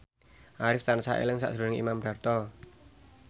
Arif tansah eling sakjroning Imam Darto